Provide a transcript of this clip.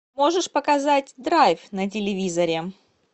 можешь показать драйв на телевизоре